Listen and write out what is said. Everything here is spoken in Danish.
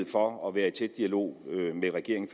for at være i tæt dialog med regeringen